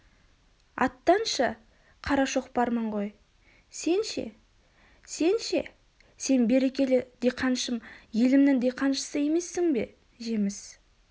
аттаншы қара шоқпармын ғой сен ше сен ше сен берекелі диқаншым елімнің диқаншысы емессің бе жеміс